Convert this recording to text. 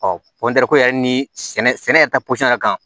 yɛrɛ ni sɛnɛ sɛnɛ yɛrɛ ta posɔn yɛrɛ kan